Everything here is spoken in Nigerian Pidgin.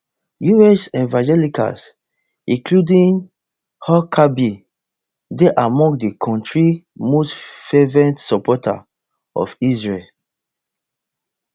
us evangelicals including huckabee dey among di kontri most fervent supporters of israel